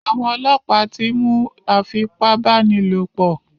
Àwọn ọlọ́pàá ti mú afipábánilòpò.